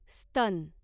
स्तन